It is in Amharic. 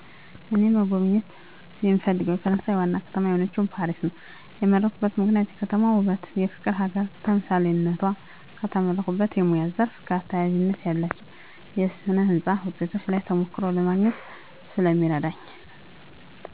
እኔ መጎብኘት የምፈልገው የፈረሳየን ዋና ከተማ የሆነችውን ፓሪስ ነው የመረጥኩበት ምክንያት የከተማዋ ውበትና የፍቅር ሀገር ተምሳሌትነቷ። ከተመረቁበት የሙያ ዘርፍ ጋር ተያያዥነት ያላቸውን የስነ ህንፃ ውጤቶች ላይ ተሞክሮ ለማግኘት ስለሚረዳኝ።